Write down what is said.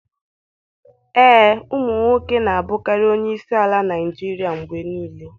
Ee, ụmụ nwoke na-abụkarị onye isi ala Naijiria mgbe niile.